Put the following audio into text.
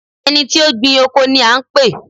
ẹni tí ó gbìn oko ni a ń pè?